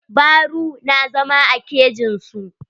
Baru na zama a kejin su.